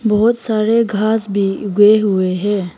बहुत सारे घास भी उगे हुए हैं।